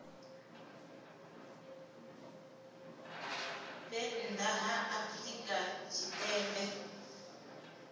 vhe nnḓa ha afrika tshipembe